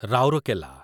Rourkela